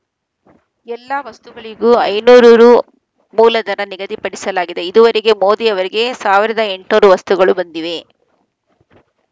ಎಲ್ಲಾ ವಸ್ತುಗಳಿಗೂ ಐನೂರು ರು ಮೂಲದರ ನಿಗದಿಪಡಿಸಲಾಗಿದೆ ಇದುವರೆಗೆ ಮೋದಿ ಅವರಿಗೆ ಸಾವಿರದ ಎಂಟ್ ನೂರು ವಸ್ತುಗಳು ಬಂದಿವೆ